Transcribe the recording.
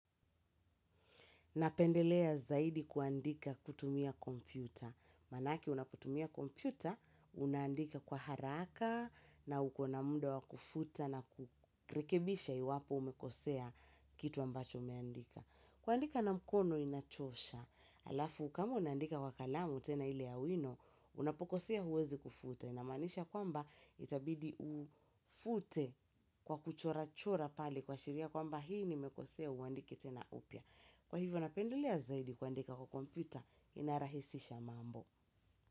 Napendelea zaidi kuandika kutumia kompyuta. Manake unaputumia kompyuta, unaandika kwa haraka na ukona muda wa kufuta na kurekebisha iwapo umekosea kitu ambacho umeandika. Kuandika na mkono inachosha. Alafu, kama unandika kwa kalamu tena ile ya wino, unapokosea huwezi kufuta. Inamanisha kwamba itabidi ufute kwa kuchora chora pali kwa shiria kwamba hii ni mekosea uandike tena upya. Kwa hivyo napendelea zaidi kuandika kwa kompyuta inarahisisha mambo.